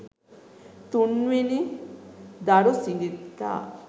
තුන් වෙනි දරුසිඟිත්තා